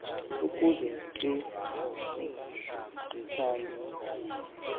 ukuze ke zichaze